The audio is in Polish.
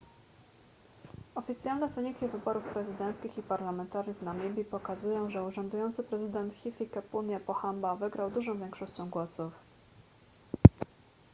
oficjalne wyniki wyborów prezydenckich i parlamentarnych w namibii pokazują że urzędujący prezydent hifikepunye pohamba wygrał dużą większością głosów